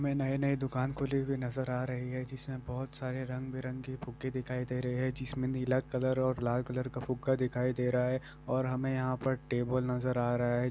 मे नई-नई दुकान खुली हुई नजर आ रही है जिसमें बहोत सारे रंग बिरंगे फुग्गे दिखाई दे रहे है जिसमें नीला कलर और लाल कलर का फुग्गा दिखाई दे रहा है और हमे यहां पर टेबल नजर आ रहा है।